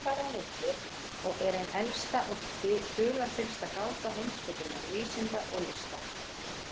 Tengslin þar á milli og er ein elsta og dularfyllsta gáta heimspekinnar, vísinda og lista.